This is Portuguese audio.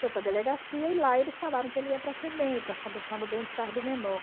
Foi para a delegacia e lá eles falaram que ele ia para a Febem, para a Fundação do Bem-Estar do Menor.